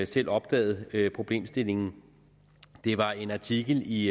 selv opdaget problemstillingen det var en artikel i